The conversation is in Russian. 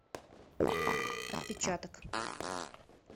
отпечаток